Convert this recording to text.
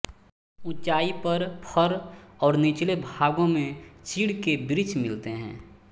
ऊँचाई पर फर और निचले भागों में चीड़ के वृक्ष मिलते हैं